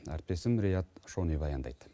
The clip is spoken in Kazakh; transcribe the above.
әріптесім риат шони баяндайды